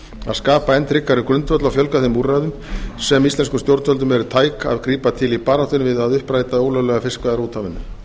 að skapa enn tryggari grundvöll og fjölga þeim úrræðum sem íslenskum stjórnvöldum eru tæk að grípa til í baráttunni við að uppræta ólöglegar fiskveiðar á úthafinu